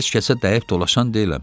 Heç kəsə dəyib dolaşan deyiləm.